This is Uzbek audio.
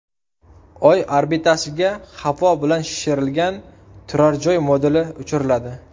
Oy orbitasiga havo bilan shishirilgan turar-joy moduli uchiriladi .